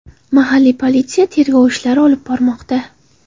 Mahalliy politsiya tergov ishlari olib bormoqda.